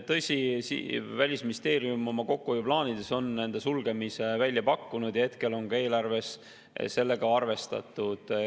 Tõsi, Välisministeerium on oma kokkuhoiuplaanides nende sulgemise välja pakkunud ja hetkel on ka eelarves sellega arvestatud.